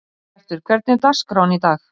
Bjartur, hvernig er dagskráin í dag?